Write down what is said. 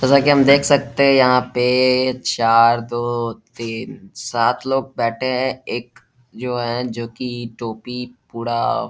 जैसा कि हम देख सकते है यहाँ पे चार दो तीन सात लोग बैठे हैं एक जो है जो कि टोपी पूरा --